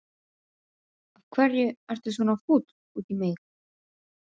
Af hverju ertu svona fúll út í mig?